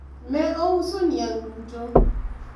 ne ouso niang' duto?